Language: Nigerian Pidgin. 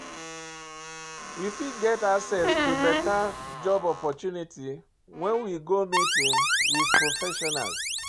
We fit get access to better job opportunity when we go meeting with professionals